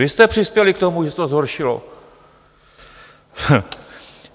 Vy jste přispěli k tomu, že se to zhoršilo.